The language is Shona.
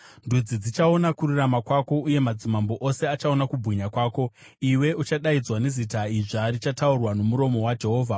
Ndudzi dzichaona kururama kwako, uye madzimambo ose achaona kubwinya kwako; iwe uchadaidzwa nezita idzva richataurwa nomuromo waJehovha.